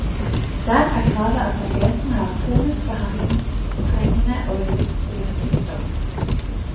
Der er kravet at pasientene har en kronisk, behandlingstrengende og livstruende sykdom.